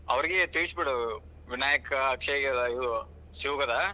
ಅವರಿಗೆ ತಿಳಿಸ್ಬಿಡು ವಿನಾಯಕ, ಅಕ್ಷಯ, ಇವ್ ಶಿವು ಗದ.